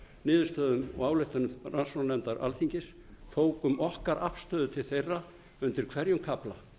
niðurstöðum og ályktunum rannsóknarnefndar alþingis tókum okkar afstöðu til þeirra undir hverjum kafla